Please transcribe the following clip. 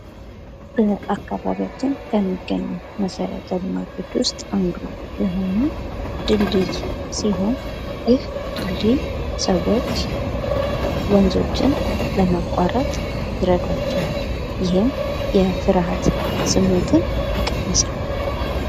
በአካባቢያችንን ከሚገኙ መሠረተ ልማቶች ውስጥ አንዱ የሆነው ድልድይ ሲሆን ፤ ይህ ድልድይ ሰዎች ወንዞችን ለማቋረጥ ይረዷቸዋል። ይህም የፍርሐት ስሜትን ይቀንሳል።